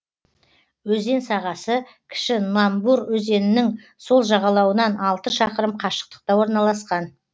өзен сағасы кіші номбур өзенінің сол жағалауынан алты шақырым қашықтықта орналасқан